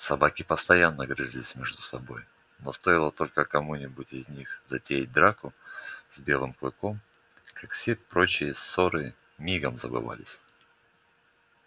собаки постоянно грызлись между собой но стоило только кому-нибудь из них затеять драку с белым клыком как все прочие ссоры мигом забывались